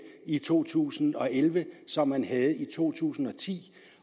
i to tusind og elleve som man havde i to tusind og ti